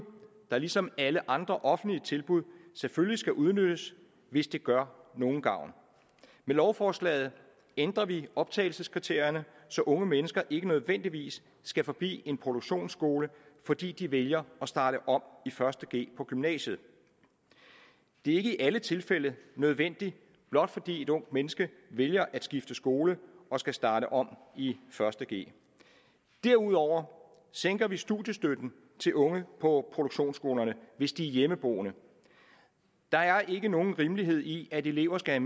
der ligesom alle andre offentlige tilbud selvfølgelig skal udnyttes hvis det gør nogen gavn med lovforslaget ændrer vi optagelseskriterierne så unge mennesker ikke nødvendigvis skal forbi en produktionsskole fordi de vælger at starte om i første g på gymnasiet det er ikke i alle tilfælde nødvendigt blot fordi et ungt mennesker vælger at skifte skole og skal starte om i første g derudover sænker vi studiestøtten til unge på produktionsskolerne hvis de er hjemmeboende der er ikke nogen rimelighed i at elever skal